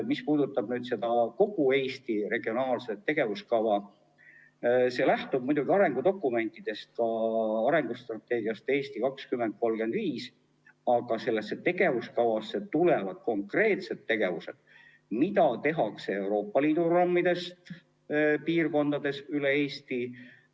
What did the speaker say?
Mis puudutab kogu Eesti regionaalselt tegevuskava, siis see lähtub muidugi arengudokumentidest, ka arengustrateegiast "Eesti 2035", aga sellesse tegevuskavasse tulevad konkreetsed tegevused, mida tehakse Euroopa Liidu programmide raames, piirkondades üle Eesti.